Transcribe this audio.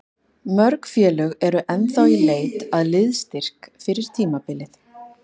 Mörg félög eru ennþá í leit að liðsstyrk fyrir tímabilið.